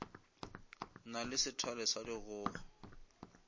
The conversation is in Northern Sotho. na le sethale sa dikgogo